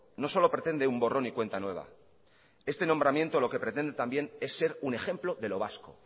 no solo pretende un borrón y cuenta nueva este nombramiento lo que pretende es ser un ejemplo de lo vasco